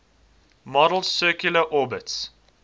model's circular orbits